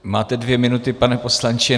Máte dvě minuty, pane poslanče.